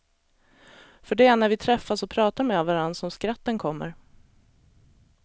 För det är när vi träffas och pratar med varandra som skratten kommer.